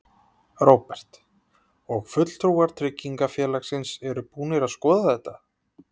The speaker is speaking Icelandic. Róbert: Og fulltrúar tryggingafélagsins eru búnir að skoða þetta?